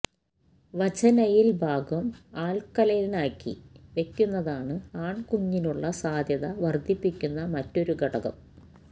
vaginal ഭാഗം ആല്ക്കലൈനാക്കി വയ്ക്കുന്നതാണ് ആണ്കുഞ്ഞിനുള്ള സാധ്യത വര്ദ്ധിപ്പിയ്ക്കുന്ന മറ്റൊരു ഘടകം